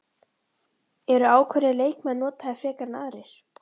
Eru ákveðnir leikmenn notaðir frekar en aðrir?